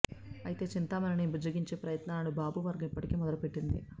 అయితే చింతమనేనిని బుజ్జగించే ప్రయత్నాలను బాబు వర్గం ఇప్పటికే మొదలుపెట్టంది